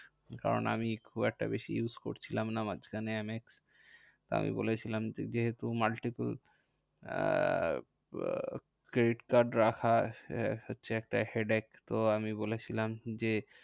কারণ আমি খুব একটা বেশি use করছিলাম না মাঝখানে এম এক্স। আমি বলেছিলাম যে, multiple আহ credit card রাখা হচ্ছে একটা headache. তো আমি বলেছিলাম যে,